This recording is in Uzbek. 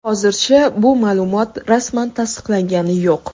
Hozircha bu ma’lumot rasman tasdiqlangani yo‘q.